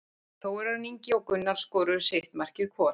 Þórarinn Ingi og Gunnar skoruðu sitt markið hvor.